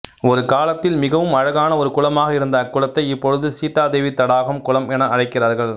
ஒரு காலத்தில் மிகவும் அழகான ஒரு குளமாக இருந்த அக்குளத்தை இப்பொழுது சீதா தேவி தடாகம் குளம் என அழைக்கிறார்கள்